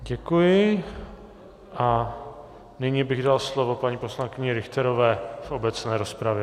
Děkuji a nyní bych dal slovo paní poslankyni Richterové v obecné rozpravě.